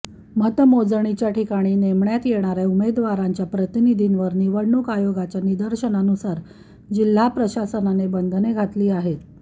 मतमोजणीच्या ठिकाणी नेमण्यात येणार्या उमेदवारांच्या प्रतिनिधींवर निवडणूक आयोगाच्या निर्देशानुसार जिल्हा प्रशासनाने बंधने घातली आहेत